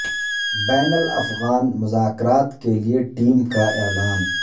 بین الافغان مذاکرات کیلئے ٹیم کا اعلان